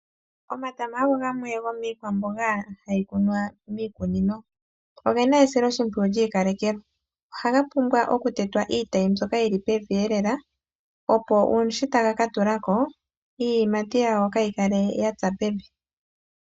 Omatama ogo gamwe gomikwamboga hayi kunwa miikunino ogena esilo shimpwiyu lyi ikalekelwa. Ohaga pumbwa oku tetwa iitayi mbyoka yili pevi elela opo shi taga katulako iiyimatu yago kayi kale yatsa pevi.